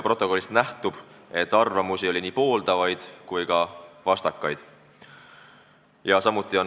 Protokollist nähtub, et oli nii pooldavaid kui ka vastu olevaid seisukohti.